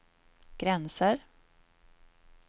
gränser